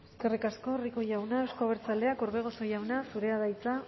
eskerrik asko rico jauna euzko abertzaleak orbegozo jauna zurea da hitza